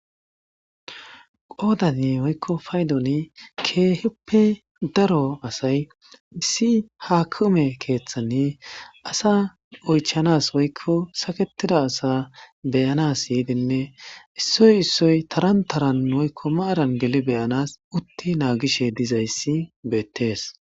qoodanni woykko paydoni keeheppe daro asay missi haakume keeththanni asa oychanas woykko saketida asa beyanas yiidinne issoy issoy taran taran woykko maaran geli beyanas utti naagishe dizayssi beettees